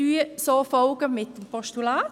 Wir folgen darin dem Postulat.